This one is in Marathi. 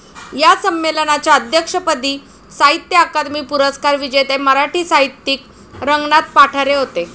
या संमेलनाच्या अध्यक्षपदी साहित्य अकादमी पुरस्कार विजेते मराठी साहित्यिक रंगनाथ पाठारे होते.